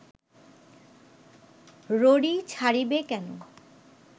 ররী ছাড়িবে কেন